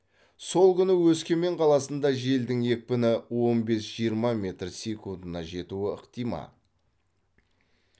сол күні өскемен қаласында желдің екпіні он бес жиырма метр секундына жетуі ықтимал